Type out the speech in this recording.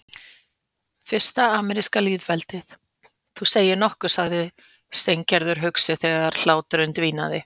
Fyrsta ameríska lýðveldið, þú segir nokkuð sagði Steingerður hugsi þegar hláturinn dvínaði.